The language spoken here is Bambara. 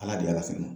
Ala de ye ala fɛ